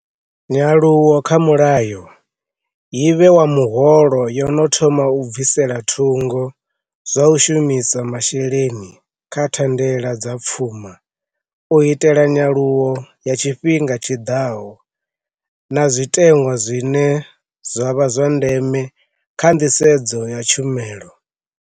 Nyaluwo kha mulayo yibe wa muholo yo no thoma u bvisela thungo zwa u shu misa masheleni kha thandela dza pfuma u itela nyaluwo ya tshifhinga tshiḓaho na zwite ṅwa zwine zwa vha zwa ndeme kha nḓisedzo ya tshumelo.